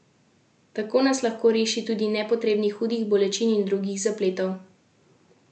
Tako nas lahko reši tudi nepotrebnih hudih bolečin in drugih zapletov.